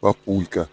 папулька